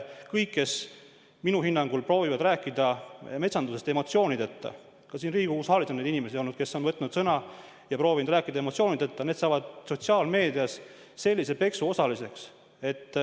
Kõik, kes minu hinnangul proovivad rääkida metsandusest emotsioonideta – ka siin Riigikogu saalis on olnud inimesi, kes on võtnud sõna ja proovinud rääkida emotsioonideta –, saavad sotsiaalmeedias kõva peksu osaliseks.